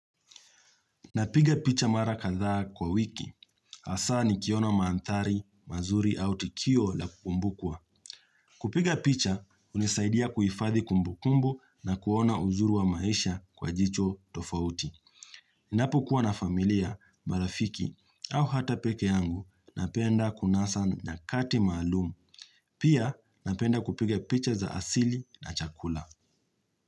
Napiga picha mara kadhaa kwa wiki. Hasaa nikiona maanthari, mazuri au tukio la kumbukuwa. Kupiga picha, hunisaidia kuhifadhi kumbukumbu na kuona uzuru wa maisha kwa jicho tofauti. Napokuwa na familia, marafiki au hata pekee yangu, napenda kunasa nyakati maalumu. Pia napenda kupiga picha za asili na chakula.